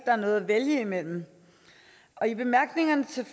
er noget at vælge imellem i bemærkningerne til